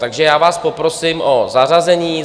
Takže já vás poprosím o zařazení.